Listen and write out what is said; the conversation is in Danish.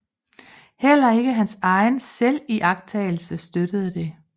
Heller ikke hans egen selviagtagelse støttede det